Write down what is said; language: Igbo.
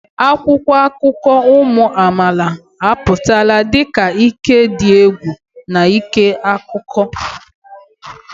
Akwụkwọ akụkọ ụmụ amaala apụtala dị ka ike dị egwu n'ịkọ akụkọ.